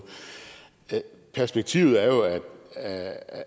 perspektivet er jo